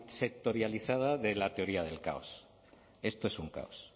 sectorializada de la teoría del caos esto es un caos